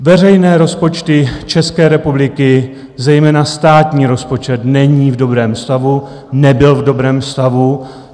Veřejné rozpočty České republiky, zejména státní rozpočet není v dobrém stavu, nebyl v dobrém stavu.